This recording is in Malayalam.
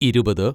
ഇരുപത്